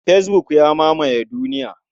Fesbuk ya mamaye duniya.